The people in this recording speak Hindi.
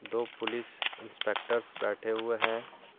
दो पुलिस इंस्पेक्टर्स बैठे हुए हैं।